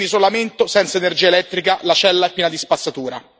è in isolamento senza energia elettrica e la cella è piena di spazzatura.